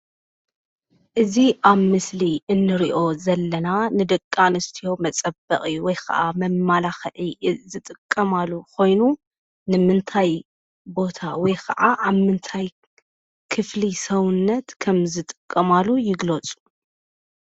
እዚ ኣብ ምስሊ እንሪኦ ዘለና ንደቂ ኣነስትዮ መፀበቒ ወይ ኸዓ መመላኽዒ ዝጠቀማሉ ኾይኑ ንምንታይ ቦታ ወይ ኸዓ ኣብ ምንታይ ክፍሊ ሰውነት ከም ዝጥቀማሉ ይግለፁ?